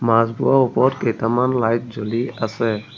মাছবোৰৰ ওপৰত কেইটামান লাইট জ্বলি আছে।